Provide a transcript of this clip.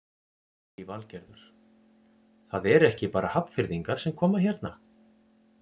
Lillý Valgerður: Það eru ekki bara Hafnfirðingar sem koma hérna?